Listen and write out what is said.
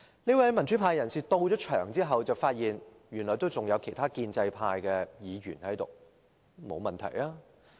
這位民主派人士到場後，發現原來還有其他建制派議員在席，這沒有問題。